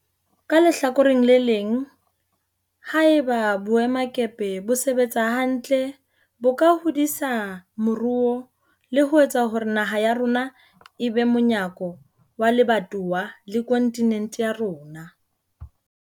Ka lehlakoreng le leng, ha eba boemakepe bo sebetsa hantle bo ka hodisa moruo le ho etsa hore naha ya rona e be monyako wa lebatowa le kontinente ya rona.